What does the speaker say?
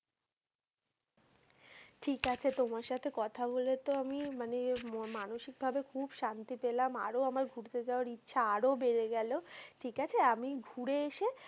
ঠিক আছে তোমার সাথে কথা বলে তো আমি মানে মানসিকভাবে খুব শান্তি পেলাম। আরও আমার ঘুরতে যাওয়ার ইচ্ছা আরও বেরে গেল ঠিক আছে আমি ঘুরে এসে,